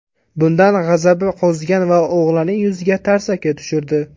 Bundan g‘azabi qo‘zigan ota o‘g‘lining yuziga tarsaki tushirdi.